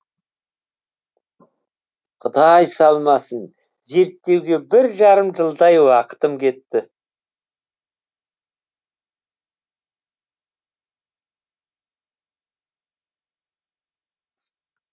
құдай салмасын зерттеуге бір жарым жылдай уақытым кетті